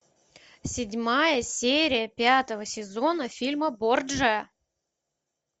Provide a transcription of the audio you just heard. седьмая серия пятого сезона фильма борджиа